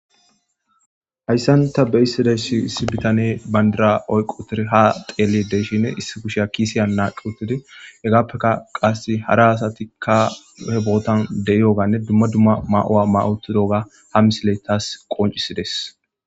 Hayisani ta beyashe dizayisi issi bitanneyi banidra oyikk utidi ha xeelishshin issi kushshiya kisen naqi uttidi hegappekka qase hara asat be botani deiyogganne dumma dumma mayo mayidi utidogga ha misileyi tas qoncisidees